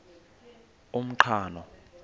umqhano